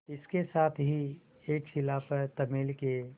इसके साथ ही एक शिला पर तमिल के